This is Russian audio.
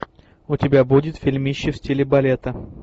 у тебя будет фильмище в стиле балета